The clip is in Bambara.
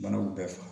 Manaw bɛɛ faga